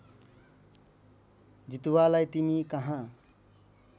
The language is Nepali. जितुवालाई तिमी कहाँ